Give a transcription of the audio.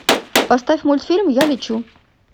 поставь мультфильм я лечу